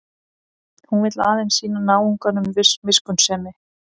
Hún vill aðeins sýna náunganum miskunnsemi.